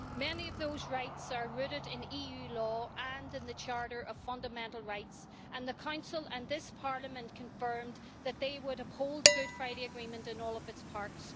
Many of those rights are rooted in EU law and in the Charter of Fundamental Rights. The Council and this Parliament confirmed that they would uphold the Good Friday Agreement in all its parts.